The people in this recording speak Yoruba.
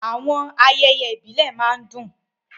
Àwọn ayẹyẹ ìbílẹ̀ máa ń dùn.